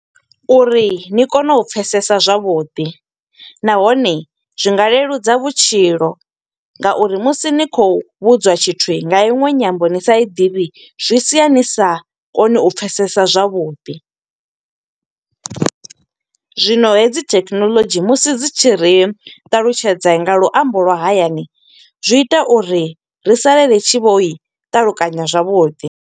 Uri ni kone u pfesesa zwavhuḓi, nahone zwi nga leludza vhutshilo nga uri musi ni khou vhudzwa tshithu nga iṅwe nyambo ni sa i ḓivhi, zwi sia ni sa koni u pfesesa zwavhuḓi. Zwino hedzi thekhinolodzhi musi dzi tshi ri ṱalutshedza nga luambo lwa hayani, zwi ita uri ri salele ri tshi vho i ṱalukanya zwavhuḓi.